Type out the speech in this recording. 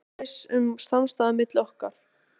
Annars var viss samstaða milli okkar